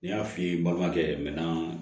N y'a f'i ye n balimakɛ minɛn